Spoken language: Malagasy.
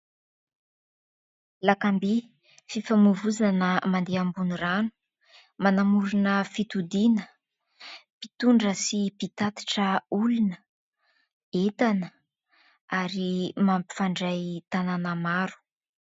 Lakam-by: fifamoivozana mandeha ambon'ny rano, manamorona fitodiana, mpitondra sy mpitatitra olona, entana ary mampifandray tanàna maro.